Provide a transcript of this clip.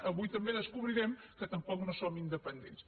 avui també descobrirem que tampoc som independents